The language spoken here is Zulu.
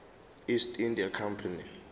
east india company